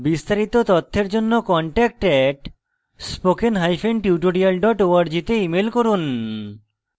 বিস্তারিত তথ্যের জন্য contact @spokentutorial org তে ইমেল করুন